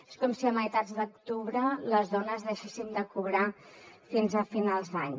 és com si a meitat d’octubre les dones deixéssim de cobrar fins a finals d’any